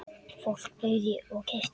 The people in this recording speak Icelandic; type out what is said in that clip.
Fólk bauð í og keypti.